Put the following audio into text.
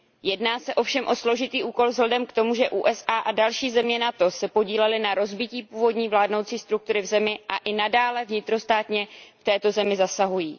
Jedná se ovšem o složitý úkol vzhledem k tomu, ze USA a další země NATO se podílely na rozbití původní vládnoucí struktury v zemi a i nadále vnitrostátně v této zemi zasahují.